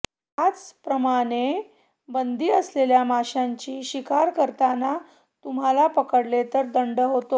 त्याच प्रमाने बंदी असलेल्या माशाची शिकार करताना तुम्हाला पकडले तर दंड होतो